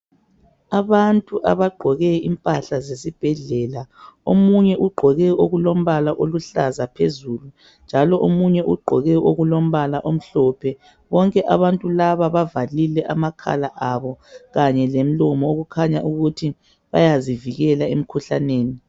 Abantu abaqgoke impahla zesibhedlela omunye uqgoke okulombala oluhlaza phezulu njalo omunye uqgoke okulombala omhlophe bonke abantu laba bavalile amakhala abo kanye lemlomo okukhanya ukuthi bayazi vikela emkhuhlaneni